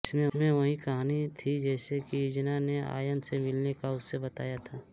इसमें वही कहानी थी जैसा की इजना ने आयन से मिलने का उसे बताया था